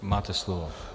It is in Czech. Máte slovo.